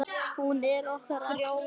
Já, hún er okkar allra.